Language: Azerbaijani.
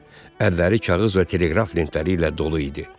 Əlləri kağız və teleqraf lentləri ilə dolu idi.